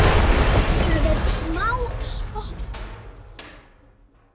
Það er smá spotti.